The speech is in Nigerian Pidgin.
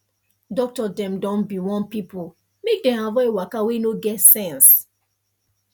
doctor dem don be warn pipo make dem avoid waka wey no get sense